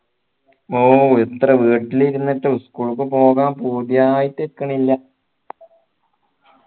ഓ എത്ര വീട്ടിലിരുന്നിട്ടും school ക്കു പോകാൻ പൂതിയായിട്ടുക്കണില്ല